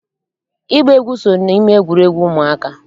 Ịgba egwu so n'ime egwuregwu ụmụaka